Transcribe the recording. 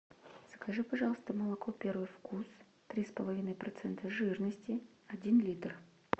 закажи пожалуйста молоко первый вкус три с половиной процента жирности один литр